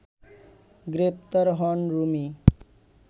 গ্রেপ্তার হন রুমি